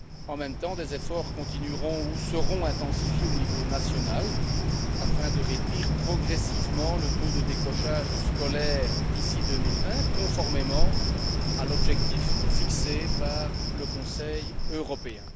En même temps, des efforts continueront ou seront intensifiés au niveau national afin de réduire progressivement le taux de décrochage scolaire d'ici 2020, conformément à l'objectif fixé par le Conseil européen.